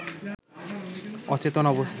অচেতন অবস্থায়